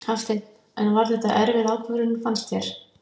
Hafsteinn: En var þetta erfið ákvörðun fannst þér?